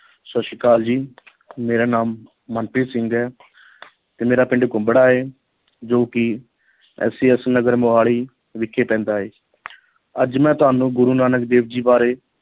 ਸਤਿ ਸ੍ਰੀ ਅਕਾਲ ਜੀ ਮੇਰਾ ਨਾਮ ਮਨਪ੍ਰੀਤ ਸਿੰਘ ਹੈ ਤੇ ਮੇਰਾ ਪਿੰਡ ਕੁੰਬੜਾ ਹੈ ਜੋ ਕਿ SAS ਨਗਰ ਮੁਹਾਲੀ ਵਿਖੇ ਪੈਂਦਾ ਹੈ ਅੱਜ ਮੈਂ ਤੁਹਾਨੂੰ ਗੁਰੂ ਨਾਨਕ ਦੇਵ ਜੀ ਬਾਰੇ